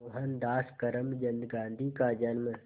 मोहनदास करमचंद गांधी का जन्म